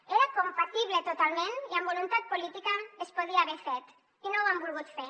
hi era compatible totalment i amb voluntat política es podia haver fet i no ho han volgut fer